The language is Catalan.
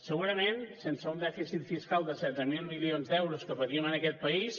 segurament sense un dèficit fiscal de setze mil milions d’euros que patim en aquest país